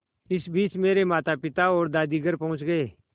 इसी बीच मेरे मातापिता और दादी घर पहुँच गए